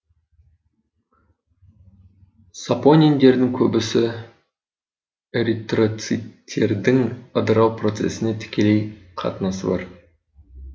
сапониндердің көбісі эритритроциттердің ыдырау процесіне тікелей қатынасы бар